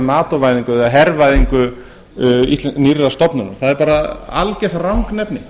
nato væðingu eða hervæðingu nýrrar stofnunar það er bara algert rangnefni